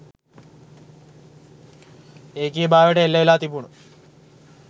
ඒකීයභාවයට එල්ල වෙලා තිබුණු